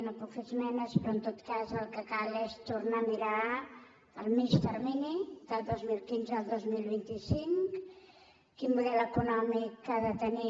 no puc fer esmenes però en tot cas el que cal és tornar a mirar el mitjà termini del dos mil quinze al dos mil vint cinc quin model econòmic ha de tenir